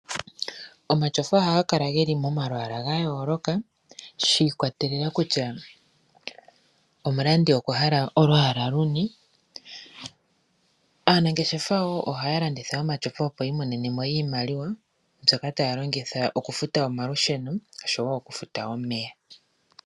Omatyofa ohaga kala ge li momalwaala ga yooloka shi ikwatelela kutya omulandi okwa hala olwaala luni. Aanangeshefa wo ohaya landitha omatyofa, opo yi imonene mo iimaliwa mbyoka taya longitha okufuta omalusheno noshowo okufuta omeya.